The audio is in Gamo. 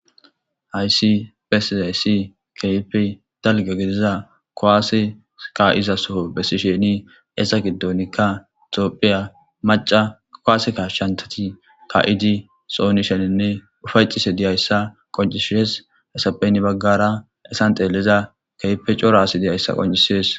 Hayssi besizayssi keyife dalga gidiza koaase ka7iza soho bessi sheni eesa giddonikka xoophiya maca kowase kashshantati ka7idi sooni sheninne ufaycise diyayssa qoncishies hesapheyn baggara esan xeelliza keipe coro aasi diyayssa qoncisees.